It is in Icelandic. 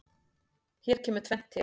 Hér kemur tvennt til.